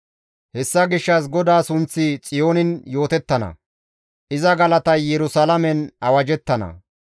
Hessa gishshas GODAA sunththi Xiyoonin yootettana; iza galatay Yerusalaamen awajjettana.